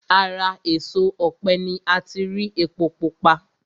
Ara èso ọ̀pẹ ni ati rí epo pupa